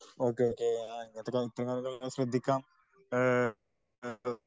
Okay okay ഇങ്ങനത്തെ കാര്യങ്ങൾ എല്ലാം ശ്രദ്ധിക്കാം .